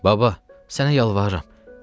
Baba, sənə yalvarıram.